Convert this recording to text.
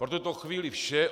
Pro tuto chvíli vše.